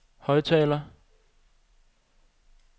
højttaler